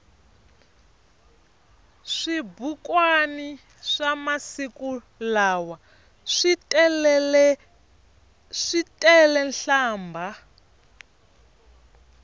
swibukwani swamasiku lawa switelenhlambha